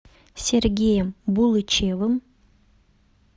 сергеем булычевым